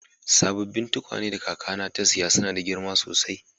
Sabobin tukwane da kaka na te siya suna da girma sosai.